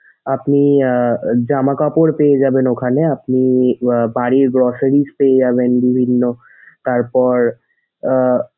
আপনি আহ জামাকাপড় পেয়ে যাবেন ওখানে আপনি আহ বাড়ির groceries পেয়ে যাবেন বিভিন্ন। তারপর আহ,